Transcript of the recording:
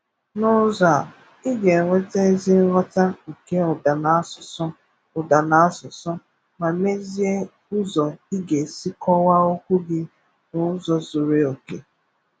N’ụzọ a, ị ga-enweta ezi nghọta nke ụda na asụsụ, ụda na asụsụ, ma meezie ụzọ ị ga-esi kọwaa okwu gị n’ụzọ zuru oke.